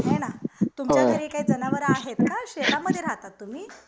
हे ना तुमच्या घरी काही जनावर आहेत का शेतामध्ये राहतात तुम्ही